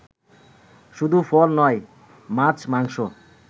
শুধু ফল নয় মাছ, মাংস